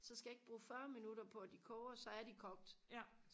så skal jeg ikke bruge fyrre minutter på at de koger så er de kogt